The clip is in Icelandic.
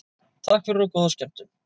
Takk fyrir og góða skemmtun.